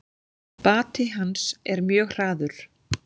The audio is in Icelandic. Bati hans er mjög hraður.